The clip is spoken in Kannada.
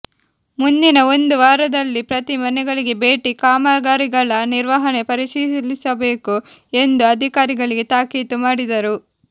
ಮುಂದಿನ ಒಂದು ವಾರದಲ್ಲಿ ಪ್ರತಿ ಮನೆಗಳಿಗೆ ಭೇಟಿ ಕಾಮಗಾರಿಗಳ ನಿರ್ವಹಣೆ ಪರಿಶೀಲಿಸಬೇಕು ಎಂದು ಅಧಿಕಾರಿಗಳಿಗೆ ತಾಕೀತು ಮಾಡಿದರು